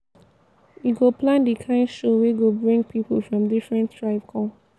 we go plan di kind show wey go bring pipu from different tribe come.